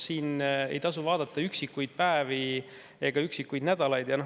Siin ei tasu vaadata üksikuid päevi ega üksikuid nädalaid.